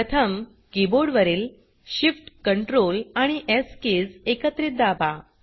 प्रथम कीबोर्ड वरील Shift Ctrl आणि स् कीज एकत्रित दाबा